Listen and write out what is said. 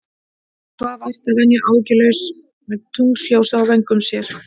Hún svaf vært að venju, áhyggjulaus, með tunglsljósið á vöngum sér.